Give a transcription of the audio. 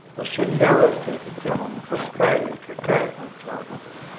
вообще левая какая-то тема мусорская или какая там чёрном